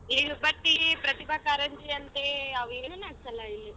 ಈ ಪ್ರತಿಭಾ ಕಾರಂಜಿ ಅಂತೇ ಅವೇನು ಏನು ನೆಡ್ಸಲ್ಲಾ ಇಲ್ಲಿ.